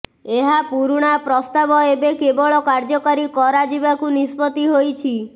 ଏହା ପୁରୁଣା ପ୍ରସ୍ତାବ ଏବେ କେବଳ କାର୍ଯ୍ୟକାରୀ କରାଯିବାକୁ ନିଷ୍ପତ୍ତି ହୋଇଛି